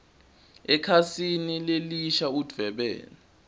ekhasini lelisha udvwebele